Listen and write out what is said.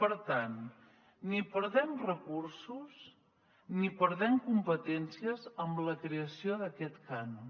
per tant ni perdem recursos ni perdem competències amb la creació d’aquest cànon